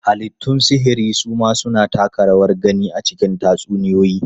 Halittun sihiri su ma suna taka rawar gani a cikin tatsuniyoyi.